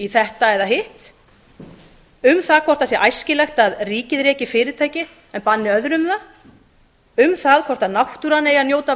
þetta eða hitt um það hvort æskilegt sé að ríkið reki fyrirtæki en banni öðrum það um það hvort náttúran eigi að njóta